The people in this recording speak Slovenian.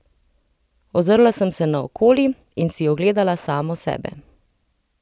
Ozrla sem se naokoli in si ogledala samo sebe.